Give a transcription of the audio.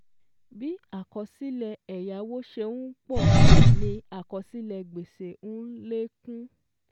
Bí àkọsílẹ̀ ẹ̀yáwó ṣe n pọ̀ ni àkọsílẹ̀ gbèsè n lékún